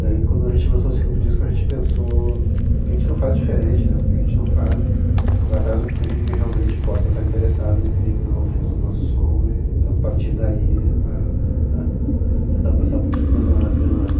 Daí quando a gente lançou o segundo disco a gente pensou que a gente não faz diferente, porque a gente não faz, não vai atrás de um público que realmente possa estar interessado em ouvir o nosso som e a partir daí a, a tentar alcançar públicos menos, menores.